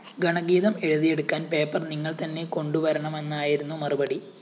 ഗണഗീതം എഴുതിയെടുക്കാന്‍ പേപ്പർ നിങ്ങള്‍ തന്നെ കൊണ്ടുവരണമെന്നായിരുന്നു മറുപടി